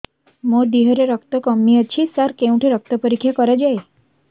ମୋ ଦିହରେ ରକ୍ତ କମି ଅଛି ସାର କେଉଁଠି ରକ୍ତ ପରୀକ୍ଷା କରାଯାଏ